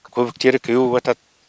көбіктері кеуіватады